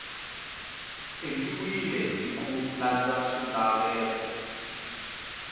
endliwile hi ku landza swilaveko